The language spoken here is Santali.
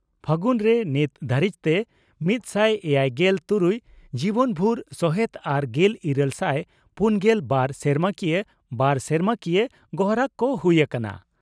ᱯᱷᱟᱹᱜᱩᱱᱨᱮ ᱱᱤᱛᱚᱝ ᱫᱷᱟᱹᱨᱤᱡᱛᱮ ᱢᱤᱛᱥᱟᱭ ᱮᱭᱟᱭᱜᱮᱞ ᱛᱩᱨᱩᱭ ᱡᱤᱵᱚᱱᱵᱷᱩᱨ ᱥᱚᱦᱮᱛ ᱟᱨ ᱜᱮᱞ ᱤᱨᱟᱹᱞ ᱥᱟᱭ ᱯᱩᱱᱜᱮᱞ ᱵᱟᱨ ᱥᱮᱨᱢᱟᱠᱤᱭᱟᱹ/ᱵᱟᱨ ᱥᱮᱨᱢᱟᱠᱤᱭᱟᱹ ᱜᱚᱨᱦᱟᱠ ᱠᱚ ᱦᱩᱭ ᱟᱠᱟᱱᱟ ᱾